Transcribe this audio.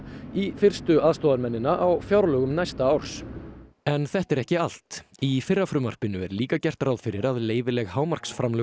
í fyrstu aðstoðarmennina á fjárlögum næsta árs en þetta er ekki allt í fyrra frumvarpinu er líka gert ráð fyrir að leyfileg